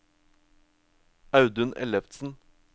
Audun Ellefsen